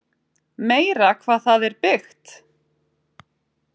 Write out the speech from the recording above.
Meira hvað það er byggt!